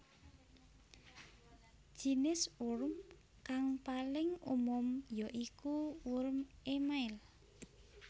Jinis worm kang paling umum ya iku worm émail